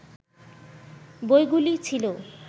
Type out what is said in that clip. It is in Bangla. বইগুলি ছিল